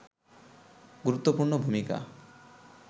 গুরুত্বপূর্ণ ভূমিকা